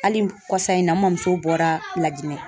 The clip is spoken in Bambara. Hali kɔsa in na, n ma muso bɔra lajinɛ.